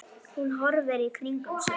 Hún horfir í kringum sig.